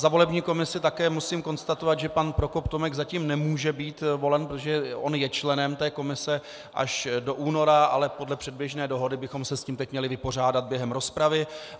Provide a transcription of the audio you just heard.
Za volební komisi také musím konstatovat, že pan Prokop Tomek zatím nemůže být volen, protože on je členem té komise až do února, ale podle předběžné dohody bychom se s tím teď měli vypořádat během rozpravy.